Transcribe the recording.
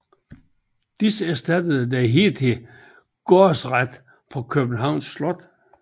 Disse erstattede den hidtidige gårdsret på Københavns Slot